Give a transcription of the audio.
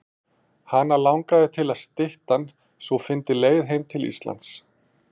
Hana langaði til að styttan sú fyndi leið heim til Íslands.